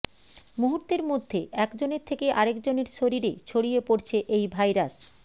মুহূর্তের মধ্যে একজনের থেকে আরেকজনের শরীরে ছড়িয়ে পড়ছে এই ভাইরাস